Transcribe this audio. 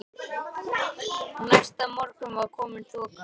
Næsta morgun var komin þoka.